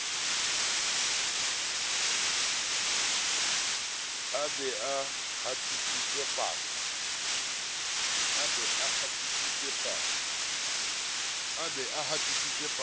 a be a hatise pasa